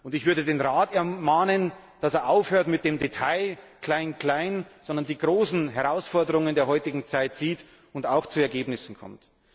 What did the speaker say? Ich würde den Rat ermahnen, dass er aufhört mit den Details, dem Klein Klein, sondern die großen Herausforderungen der heutigen Zeit sieht und auch zu Ergebnissen kommt.